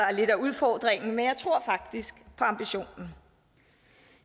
er lidt af udfordringen men jeg tror faktisk på ambitionen